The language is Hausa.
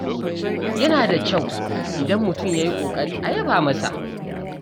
Yana da kyau idan mutum ya yi ƙoƙari a yaba masa.